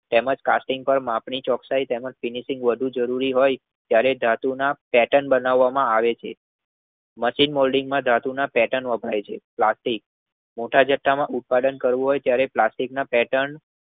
તેમજ કાસ્ટિંગ માપણી ચોકસાઈ તેમજ ફીનીસીંગ વધુ જરૂરી હોય ત્યરે ધાતુ ના પેર્ટન બનાવ માં આવે છે. નાટીંન્ગ મોલ્ડિંગ માં ધાતુ ના પેર્ટન વપરાય છે પ્લસ્ટિક મોટા જથ્થામાં ઉત્પાદન કરવું હોય ત્યરે પ્લાસ્ટિક ના પેર્ટન